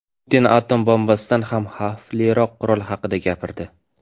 Putin atom bombasidan ham xavfliroq qurol haqida gapirdi.